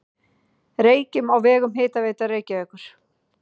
Reykjum á vegum Hitaveitu Reykjavíkur.